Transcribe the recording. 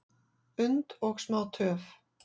und og smá töf,